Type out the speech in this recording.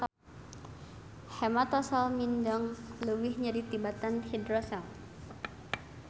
Hematosel mindeng leuwih nyeri tibatan hidrosel